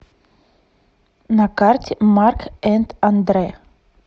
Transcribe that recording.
на карте марк энд андрэ